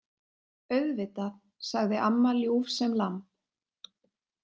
Auðvitað, sagði amma ljúf sem lamb.